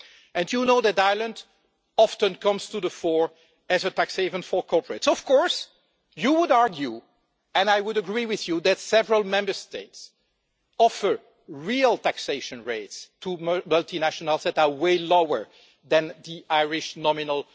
And you know that Ireland often comes to the fore as a tax haven for corporates. Of course, you would argue and I would agree with you that several Member States offer real taxation rates to multinationals that are way lower than the Irish nominal